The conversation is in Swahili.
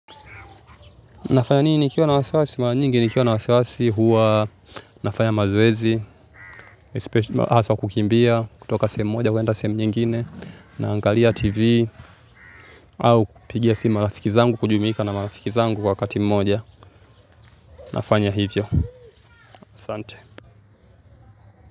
Nafanya nini nikiwa na wasiwasi? Mara nyingi nikiwa na wasiwasi huwa nafanya mazoezi, hasa kukimbia, kutoka sehemu moja kwenda sehemu pengine, naangalia TV, au kupigia simu marafiki zangu kujumuika na marafiki zangu kwa pamoja. Nafanya hivyo. Sante.